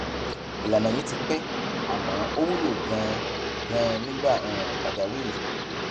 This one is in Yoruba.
ìlànà yìí ti pẹ àmọ ó wúlò ganan ganan nígbà um pàjáwìrì